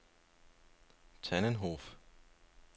Tannenhof